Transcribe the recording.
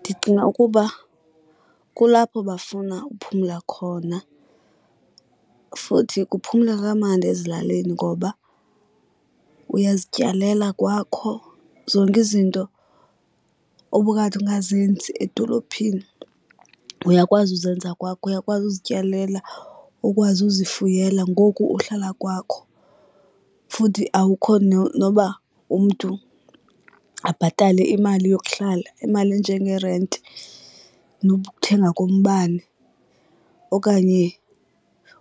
Ndicinga ukuba kulapho bafuna uphumla khona futhi kuphumleka kamandi ezilalini ngoba uyazityalela kwakho. Zonke izinto obukade ungazenzi edolophini uyakwazi uzenza kwakho. Uyakwazi uzityalela ukwazi uzifuyela ngoku uhlala kwakho. Futhi awukho noba umntu abhatale imali yokuhlala imali enjengerenti nokuthenga kombane okanye